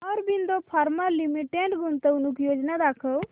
Aurobindo pharma limited गुंतवणूक योजना दाखव